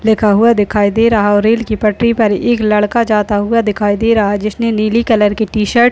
लिखा हुआ दिखाई दे रहा है और रेल की पटरी पर एक लड़का जाता हुआ दिखाई दे रहा है। जिसने नीली कलर की टी-शर्ट --